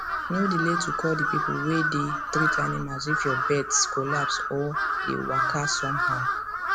no delay to call the people way dey treat animals if your birds collapse or dey walka some how